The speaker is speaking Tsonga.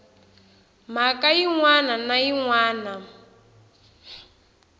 mhaka yin wana na yin